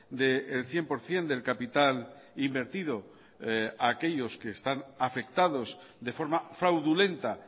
del cien por ciento del capital invertido a aquellos que están afectados de forma fraudulenta